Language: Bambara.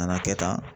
Na kɛ tan